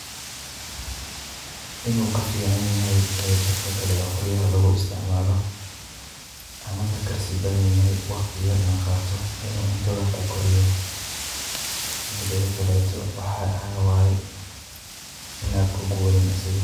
In uu kaficanyahay dabka kale oo qoryaha lugu istacmaalo, ama ka karsi badanyahay wakhti yerna qaato in uu cuntada ku kariyo. Mideedi kaleeto waxaa waay inaad kugubanin asiga.